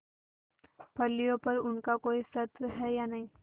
फलियों पर उनका कोई स्वत्व है या नहीं